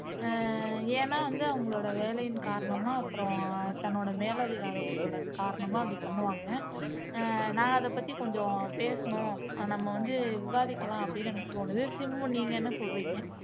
ஹம் ஏன்னா வந்து அவங்க வேலையின் காரணமா அப்புறம் தன்னோட மேலதிகாரி காரணமா அப்படி பண்ணுவாங்க உம் நான் அதைப்பத்தி கொஞ்சம் பேசணும் நம்ம வந்து விவாதிக்கலாம் அப்படின்னு எனக்கு தோணுதோ சிம்பு நீங்க என்ன சொல்றீங்க